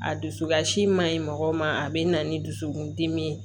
A dusu kasi man ɲi mɔgɔw ma a bɛ na ni dusukun dimi ye